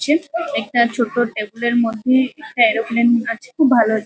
হচ্ছে। একটা ছোট্ট টেবিল -এর মধ্যে একটা এরোপ্লেন আছে। খুব ভালো --